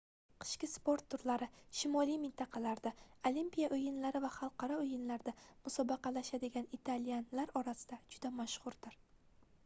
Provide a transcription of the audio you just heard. qishki sport turlari shimoliy mintaqalarda olimpiya oʻyinlari va xalqaro oʻyinlarda musobaqalashadigan italyanlar orasida juda mashhurdir